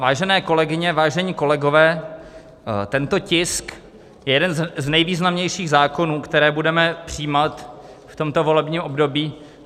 Vážené kolegyně, vážení kolegové, tento tisk je jeden z nejvýznamnějších zákonů, které budeme přijímat v tomto volebním období.